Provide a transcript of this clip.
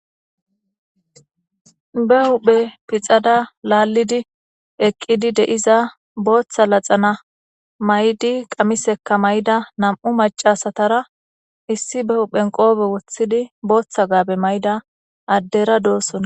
Be huhphe pixada laallidi eqqidi de'iza booththa laxana may7di qamisekka may'da nam'u macasatara issi be huhphen qoobe woththidi booththa gaabe mayda addera doossona.